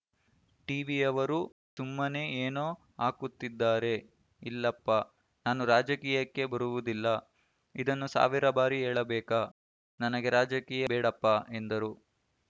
ಟಿವಿಯವರು ಸುಮ್ಮನೇ ಏನೋ ಹಾಕುತ್ತಿದ್ದಾರೆ ಇಲ್ಲಪ್ಪಾ ನಾನು ರಾಜಕೀಯಕ್ಕೆ ಬರುವುದಿಲ್ಲ ಇದನ್ನು ಸಾವಿರ ಬಾರಿ ಹೇಳಬೇಕಾ ನನಗೆ ರಾಜಕೀಯ ಬೇಡಪ್ಪ ಎಂದರು